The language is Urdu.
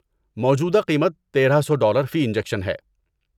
موجودہ قیمت تیرہ سو ڈالر فی انجکشن ہے